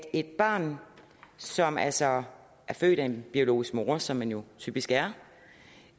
et barn som altså er født af en biologisk mor som man jo typisk er